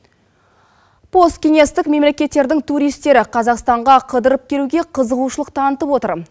посткеңестік мемлекеттердің туристері қазақстанға қыдырып келуге қызығушылық танытып отыр